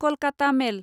Kolkata मेल